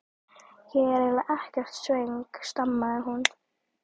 Ég er eiginlega ekkert svöng stamaði hún.